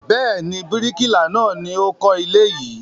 Bẹ́ẹ̀ ni, bíríkìlà náà ni ó kọ́ ilé yìí.